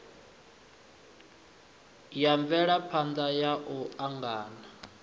ya mvelaphana ya u angana